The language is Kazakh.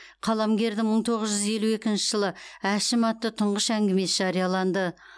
қаламгердің мың тоғыз жүз елу екінші жылы әшім атты тұңғыш әңгімесі жарияланды